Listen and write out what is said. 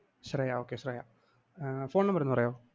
Shreya Okay Shreya ah phone number ഒന്ന് പറയാമോ?